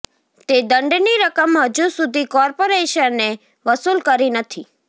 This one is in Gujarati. તે દંડની રકમ હજૂ સુધી કોર્પોરેશને વસૂલ કરી નથી